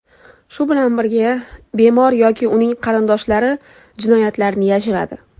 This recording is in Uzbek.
Shu bilan birga, bemor yoki uning qarindoshlari jinoyatlarni yashiradi.